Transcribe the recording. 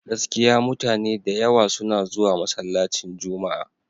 Gaskiya mutane da yawa suna zuwa masallacin Juma'a.